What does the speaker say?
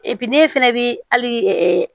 ne fana bɛ hali